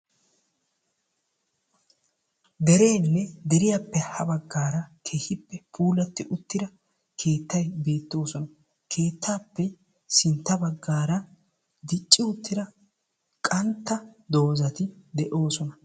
Dereenne deriyaappe ha baggaara keehippe puulatti uttida keettay beettees. Keettaappe sintta baggaara dicci uttida qantta dozati de'oosona.